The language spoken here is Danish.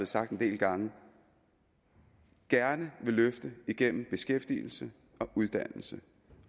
sagt en del gange gerne vil løfte igennem beskæftigelse og uddannelse